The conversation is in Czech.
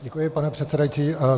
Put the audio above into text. Děkuji, pane předsedající.